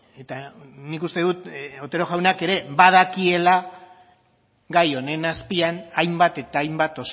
eta nik uste dut otero jaunak ere badakiela gai honen azpian hainbat eta hainbat